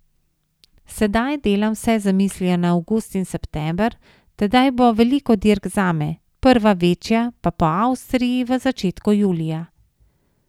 Sedaj delam vse z mislijo na avgust in september, tedaj bo veliko dirk zame, prva večja pa Po Avstriji v začetku julija.